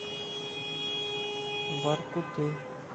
воркуты